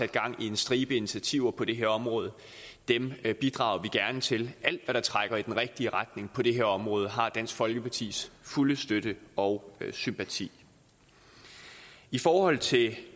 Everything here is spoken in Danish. gang i en stribe initiativer på det her område og dem bidrager vi gerne til alt hvad der trækker i den rigtige retning på det her område har dansk folkepartis fulde støtte og sympati i forhold til det